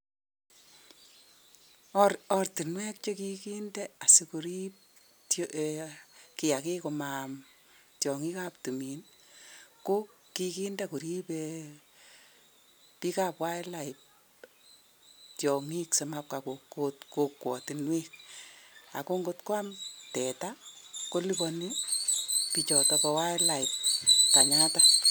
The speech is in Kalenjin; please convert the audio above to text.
Ortunwek chekikinde korib tyong'ik simaam tuga kokikochi korib bik ab wildlife simaam tuga ako ngwam keliboni